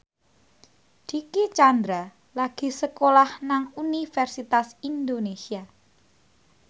Dicky Chandra lagi sekolah nang Universitas Indonesia